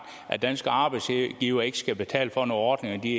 at danske arbejdsgivere ikke skal betale for nogle ordninger de